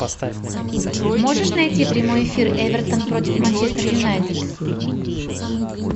можешь найти прямой эфир эвертон против манчестер юнайтед